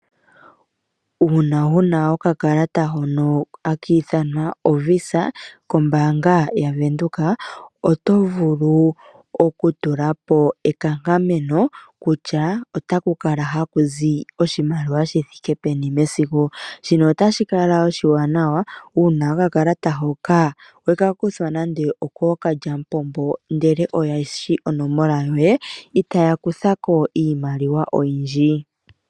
Uuna wuna okakalata hono hakiithanwa oVisa kombaanga yaVenduka, oto vulu okutulapo ekankameno kutya otakukala hakuzi oshimaliwa shithike peni mesiku. Shino otashi kala oshiwanawa uuna wekakuthwa nande okookalyamupombo ndele oyeshi onomola yoye itaya kuthako iimaliwa oyindji.